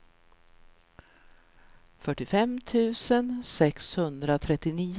fyrtiofem tusen sexhundratrettionio